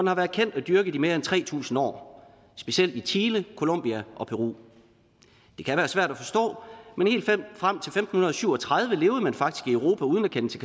har været kendt og dyrket i mere end tre tusind år specielt i chile colombia og peru det kan være svært at forstå men helt frem til femten syv og tredive levede man faktisk i europa uden at kende til